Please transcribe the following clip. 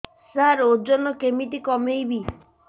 ସାର ଓଜନ କେମିତି କମେଇବି